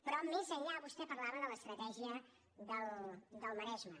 però més enllà vostè parlava de l’ estratègia del maresme